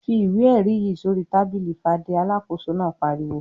"Fi ìwé-ẹ̀rí yìí sórí tábìlì Fadé!" Alákòóso náà pariwo.